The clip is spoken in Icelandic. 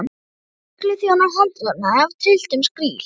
Þrír lögregluþjónar handjárnaðir af trylltum skríl.